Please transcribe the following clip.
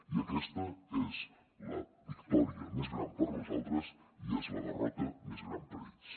i aquesta és la victòria més gran per a nosaltres i és la derrota més gran per a ells